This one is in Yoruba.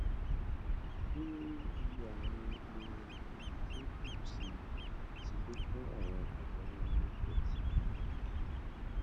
bí iye àwọn ohun ọgbìn ṣe n gbèrú sí i ti lékún àwọn ìnáwó ohun oúnjẹ ti mọlẹbí gidigidi